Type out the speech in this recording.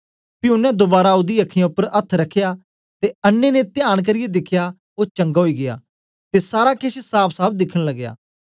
पी ओनें दोबारा ओदी अखीयाँ उपर अथ्थ रखया ते अन्नें ने तयान करियै दिखेया ओ चंगा ओई गीया ते सारा केछ साफसाफ दिखन लगया